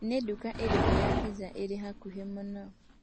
nĩ ndũka ĩriku ya pizza ĩria ĩhakuhĩmũno